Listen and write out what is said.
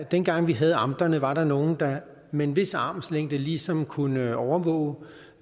dengang vi havde amterne var der nogle der med en vis armslængde ligesom kunne overvåge